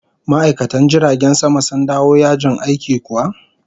Ma'aikatan jiragen sama sun dawo yajin aikin kuwa?